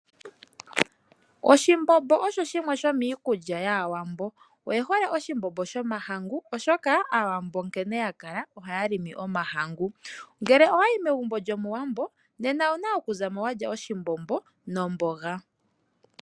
Oshimbombo osho shimwe shomiikulya yAawambo. Oye hole oshimbombo shomahangu, oshoka Aawambo nkene ya kala ohaya limi omahangu. Ngele owa yi megumbo lyOmuwambo nena owu na okuza mo wa lya oshimbombo nomboga.